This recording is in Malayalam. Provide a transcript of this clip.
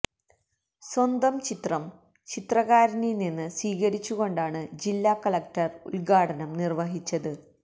സ്വന്തം ചിത്രം ചിത്രകാരനിൽ നിന്ന് സ്വീകരിച്ചുകൊണ്ടാണ് ജില്ലാ കളക്ടർ ഉദ്ഘാടനം നിർവ്വഹിച്ചത്